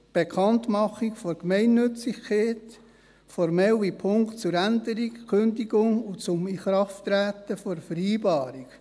Bekanntmachung der Gemeinnützigkeit, formelle Punkte zur Änderung, Kündigung und zum Inkrafttreten der Vereinbarung.